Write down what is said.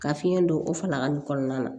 Ka fiɲɛ don o fala nin kɔnɔna na